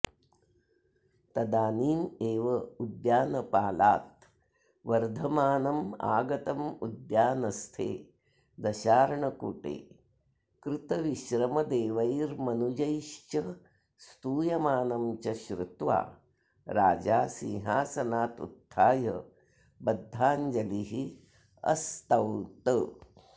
तदानीमेवोद्यानपालाद् वर्धमानमागतमुद्यानस्थे दशार्णकूटे कृतविश्रमदेवैर्मनुजैश्च स्तूयमानं च श्रुत्वा राजा सिंहासनादुत्थाय बद्धाञ्जलिरस्तौत्